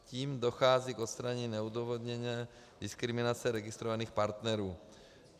Tím dochází k odstranění neodůvodněné diskriminace registrovaných partnerů.